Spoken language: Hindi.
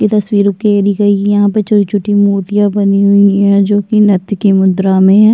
ये तस्वीरों के नीचे यहाँ पे छोट छोटी मूर्तियाँ बनी हुई है जो की नत्थ की मुद्रा में है।